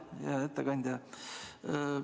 Hea ettekandja Kalle!